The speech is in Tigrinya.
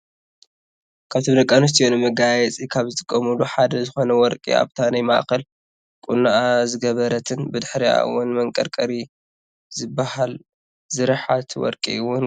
ካብቶም ደቂ ኣንስትዮ ንመጋየፂ ካብ ዝጥቀማሉ ሓደ ዝኮነ ወርቂ ኣብታ ናይ ማእከል ቁኖኣ ዝገበረትን ብድሕሪኣ እውን መቀርቀሪ ዝብሃል ዝርሓት ወርቂ እውን ገይራ ኣላ።